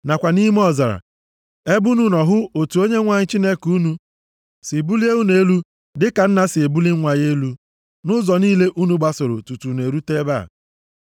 nakwa nʼime ọzara, ebe unu nọ hụ otu Onyenwe anyị Chineke unu si bulie unu elu dịka nna si ebuli nwa ya elu, nʼụzọ niile unu gbasoro tutu unu erute ebe a.”